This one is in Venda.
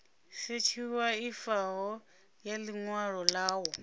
sethifaiwaho ya ḽi ṅwalo ḽavho